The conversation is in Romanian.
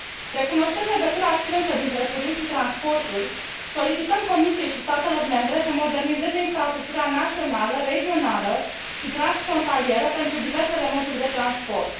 Recunoscând legătura strânsă dintre turism și transporturi, solicităm Comisiei și statelor membre să modernizeze infrastructura națională, regională și transfrontalieră pentru diversele moduri de transport.